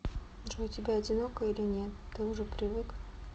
джой тебе одиноко или нет ты уже привык